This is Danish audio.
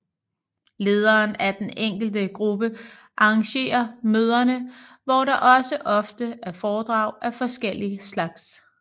Lederen af den enkelte gruppe arrangerer møderne hvor der også ofte er foredrag af forskellig slags